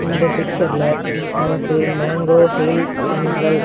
இந்த பிக்சர்ல நமக்கு மேங்கோ ஹில் சென்ட்ரல் --